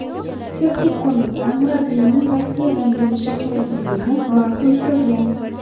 Texnik qo‘mita murabbiyning Rossiyadan bo‘lishi kerakligini ma’qul ko‘rgan.